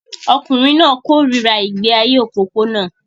Ọkùnrin náà kórìíra ìgbé ayé òpópónà